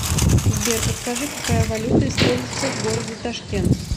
сбер подскажи какая валюта используется в городе ташкент